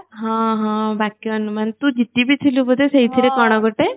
ହଁ ହଁ ବାକ୍ୟ ଅନୁମାନ ତୋ ଦିଦିବି ଥିଲେ ଗୋଟେ ସେଇଥିରେ କଣ ଗୋଟେ